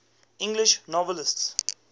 english novelists